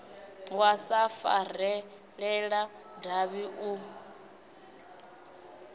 wa sa farelela davhi u